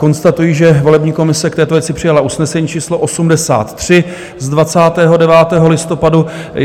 Konstatují, že volební komise k této věci přijala usnesení číslo 83 z 29. listopadu.